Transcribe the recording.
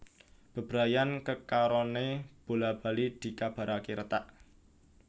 Bebrayan kekaroné bola bali dikabaraké retak